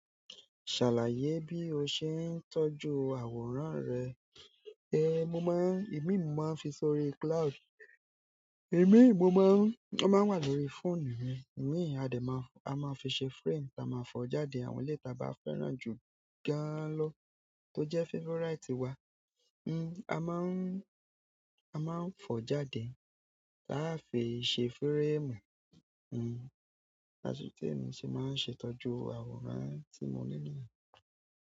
Ṣàlàyé bí o ṣe ń tọ́jú àwòrán rẹ. Ehn, mo máa ń, ìmíì mo máa ń fi sórí cloud. Ìmíì mo máa ń, ó máa ń wà lórí fóònù mi. Ìmíì a dẹ̀ máa, a máa fi ṣe frame, táa máa fọ̀ọ́ jáde àwọn eléyìí táa bá fẹ́ràn jù gan-an lọ, tó jẹ́ favourite wa. N, a máa ń, a máa ń fọ̀ọ́ jáde, táá fi ṣe fíréèmù. N, asòtí mi sì máa ń ṣe ìtọ́jú àwòrán tí mo nílè.